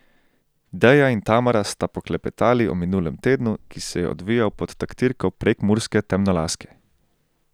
Deja in Tamara sta poklepetali o minulem tednu, ki se je odvijal pod taktirko prekmurske temnolaske.